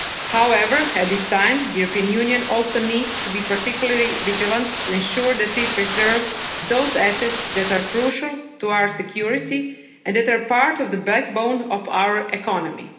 However, at this time the European Union also needs to be particularly vigilant to ensure that we preserve those assets that are crucial to our security and that are part of the backbone of our economy.